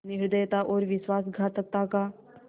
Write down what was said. निर्दयता और विश्वासघातकता का